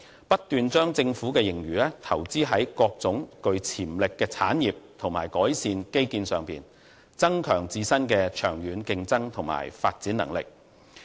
新加坡政府不斷把盈餘投資於各種具潛力的產業和基建改善，增強自身的長遠競爭和發展能力。